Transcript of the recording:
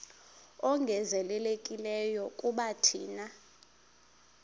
ongezelelekileyo kuba thina